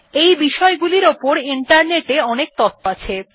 এই বিষয়গুলির উপর ইন্টারনেট এ অনেক তথ্য আছে